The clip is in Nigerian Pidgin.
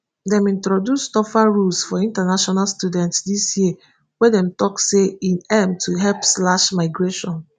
dem introduce tougher rules for international students dis year wey dem tok say e aim to help slash migration